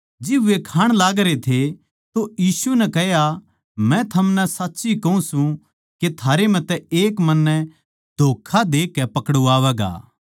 जिब वे खाण लागरे थे तो यीशु नै कह्या मै थमनै साच्ची कहूँ सूं के थारै म्ह तै एक मन्नै धोक्खा देकै पकड़वावैगा